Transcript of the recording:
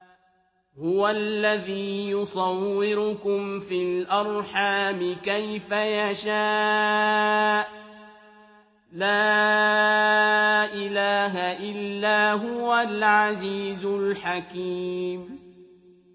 هُوَ الَّذِي يُصَوِّرُكُمْ فِي الْأَرْحَامِ كَيْفَ يَشَاءُ ۚ لَا إِلَٰهَ إِلَّا هُوَ الْعَزِيزُ الْحَكِيمُ